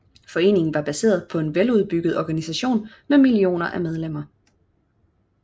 Foreningen var baseret på en veludbygget organisation med millioner af medlemmer